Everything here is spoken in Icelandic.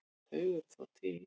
Þau eru þó til.